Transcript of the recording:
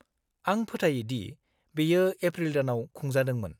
-आं फोथायोदि बेयो एप्रिल दानाव खुंजादोंमोन।